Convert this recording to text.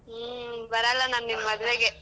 ಹ್ಮ್, ಬರಲ್ಲ ನಾನ್ ನಿಮ್ ಮದ್ವೆಗೆ.